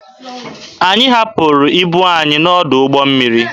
Anyị hapụrụ ibu anyị n'ọdụ ụgbọ mmiri.